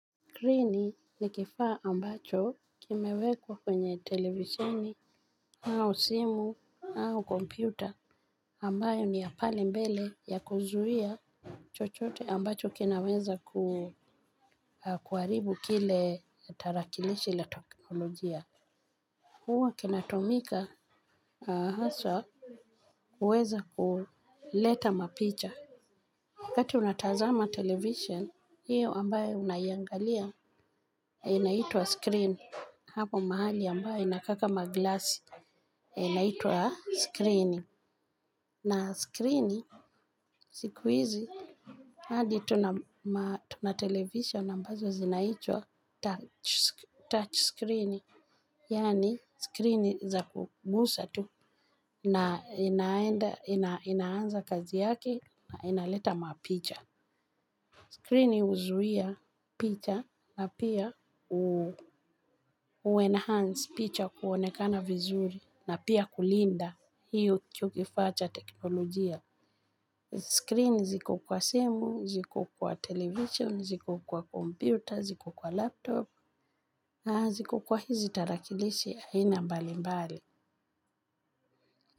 Skrini ni kifaa ambacho kimewekwa kwenye televisheni au simu au kompyuta. Ambayo ni ya pale mbele ya kuzuia chochote ambacho kinaweza kuharibu kile tarakilishi la teknolojia. Huwa kinatumika hasa kuweza kuleta mapicha. Wakati unatazama televisheni hiyo ambayo unaiangalia. Inaitwa screen. Hapo mahali ambayo inakaa kama glasi. Inaitwa skrini. Na skrini sikuizi hadi tuna television ambazo zinaitwa touch screen. Yani screen za kugusa tu na inaanza kazi yaki na inaleta mapicha. Screen huzuia picha na pia huu enhance picha kuonekana vizuri na pia kulinda hiyo kifaa cha teknolojia. Screen ziko kwa simu, ziko kwa television, ziko kwa computer, ziko kwa laptop na ziko kwa hizi tarakilishi aina mbalimbali.